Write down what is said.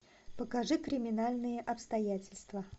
покажи криминальные обстоятельства